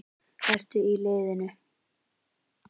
Ertu í liðinu?